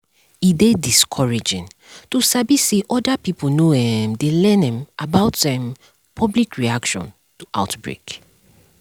e dey discouraging to sabi say other pipo no um dey learn um about um public reaction to outbreak